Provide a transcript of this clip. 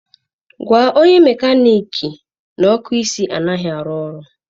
Gwa onye mekaniki na ọkụ isi anaghị arụ ọrụ.